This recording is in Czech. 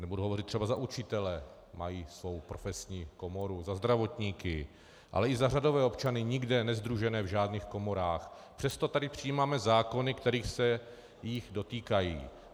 Nebudu hovořit třeba za učitele, mají svou profesní komoru, za zdravotníky, ale i za řadové občany nikde nesdružené v žádných komorách, přesto tady přijímáme zákony, které se jich dotýkají.